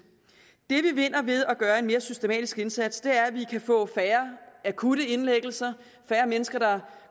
det vi vinder ved at gøre en mere systematisk indsats er at vi kan få færre akutte indlæggelser færre mennesker der